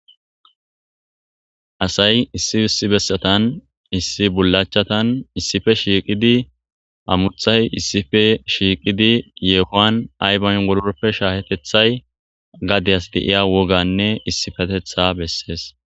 asay issiissi bessatan issi bulachatan issife shiiqidi amuthay issife shiiqidi yeekoan aybayn wolorpe shaahetethay gadeyas deiya woganne issifatetha bessees